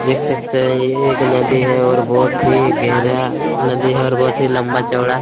देख सकते है यह एक नदी है और बहोत ही गहरा नदी है और बहोत ही लम्बा-चौड़ा--